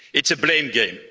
It's a blame game.